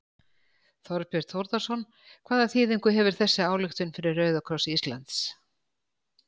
Þorbjörn Þórðarson: Hvaða þýðingu hefur þessi ályktun fyrir Rauða kross Íslands?